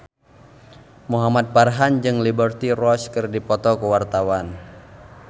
Muhamad Farhan jeung Liberty Ross keur dipoto ku wartawan